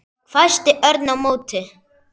hvæsti Örn á móti.